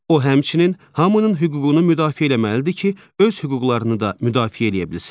O, həmçinin hamının hüququnu müdafiə eləməlidir ki, öz hüquqlarını da müdafiə eləyə bilsin.